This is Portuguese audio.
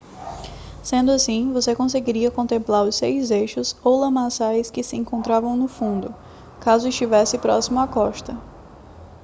sendo assim você conseguiria contemplar os seixos ou lamaçais que se encontravam no fundo caso estivesse próximo à costa